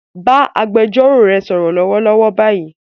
Bá agbẹjọ́rò rẹ sọ̀rọ̀ lọ́wọ́lọ́wọ́ báyìí